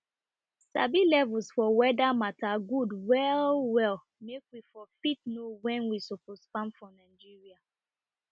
sabi levels for weader matters good well well make we for fit know when we suppose farm for nigeria